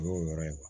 O y'o yɔrɔ ye